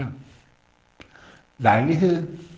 lejligheden